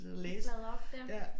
Bladre op dér